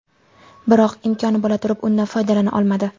Biroq imkoni bo‘la turib, undan foydalana olmadi.